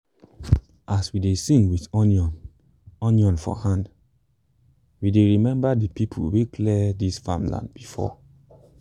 as we dey sing with onion onion for hand we dey remember the people wey clear this farmland before.